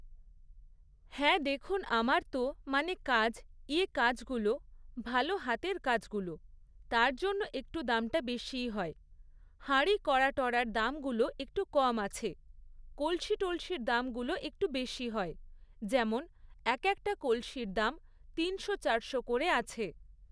হ্যাঁ দেখুন আমার তো, মানে কাজ, ইয়ে কাজগুলো, ভালো হাতের কাজগুলো, তার জন্য একটু দামটা বেশিই হয়, হাঁড়ি কড়া টড়ার দামগুলো একটু কম আছে, কলসি টলসির দামগুলো একটু বেশি হয়, যেমন এক একটা কলসির দাম তিনশো চারশো করে আছে।